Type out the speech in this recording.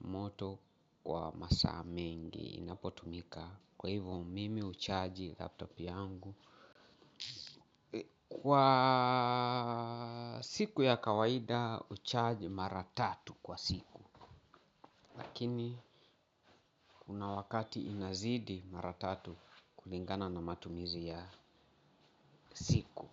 moto wa masaa mengi inapotumika kwa hivyo mimi uchaji laptop yangu kwa siku ya kawaida hucharge mara tatu kwa siku lakini kuna wakati inazidi mara tatu kulingana na matumizi ya siku.